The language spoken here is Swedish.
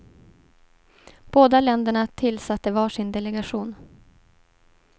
Båda länderna tillsatte var sin delegation.